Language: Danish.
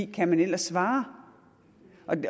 kan man ellers svare